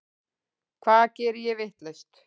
Hvað geri ég vitlaust?